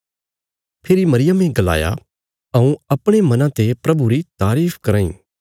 फेरी मरियमे गलाया हऊँ परमेशरा री स्तुती कराँ इ